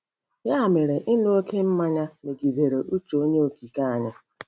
Ya mere, ịṅụ oké mmanya megidere uche Onye Okike anyị.